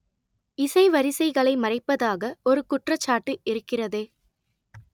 இசை வரிசைகளை மறைப்பதாக ஒரு குற்றச்சாட்டு இருக்கிறதே